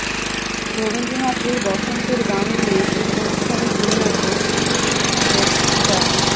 রবীন্দ্রনাথের বসন্তের গান দিয়ে এই অনুষ্ঠানের বিন্যাসে শিল্পী ছিলেন ড